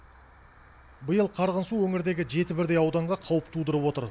биыл қарғын су өңірдегі жеті бірдей ауданға қауіп тудырып отыр